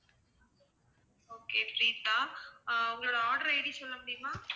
okay Preetha, ah உங்களோட order ID சொல்ல முடியுமா?